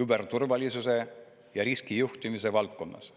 küberturvalisuse ja riskijuhtimise valdkonnas.